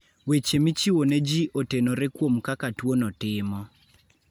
Weche michiwo ne ji otenore kuom kaka tuono timo.